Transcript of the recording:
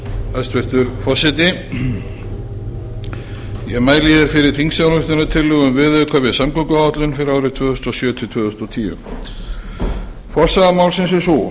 hæstvirtur forseti ég mæli hér fyrir þingsályktunartillögu um viðauka við samgönguáætlun fyrir árin tvö þúsund og sjö til tvö þúsund og tíu forsaga málsins er sú